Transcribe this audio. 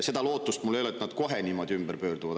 Seda lootust mul ei ole, et nad kohe niimoodi pöörduvad.